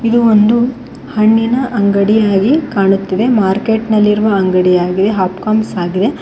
ಇದು ಒಂದು ಹಣ್ಣಿನ ಅಂಗಡಿಯಾಗಿ ಕಾಣುತ್ತಿದೆ ಮಾರ್ಕೆಟ್ ನಲ್ಲಿ ಇರುವ ಅಂಗಡಿಯಾಗಿದೆ ಅಪ್ ಕಾಮ್ಸ್ ಆಗಿದೆ.